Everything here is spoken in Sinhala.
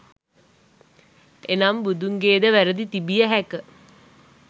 එනම් බුදුන්ගේද වැරදි තිබිය හැක.